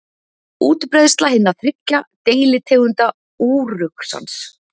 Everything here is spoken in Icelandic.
Útbreiðsla hinna þriggja deilitegunda úruxans.